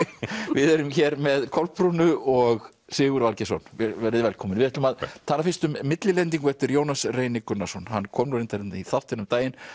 við erum hér með Kolbrúnu og Sigurð Valgeirsson verið þið velkomin við ætlum að tala fyrst um millilendingu eftir Jónas Reyni Gunnarsson hann kom nú reyndar hérna í þáttinn um daginn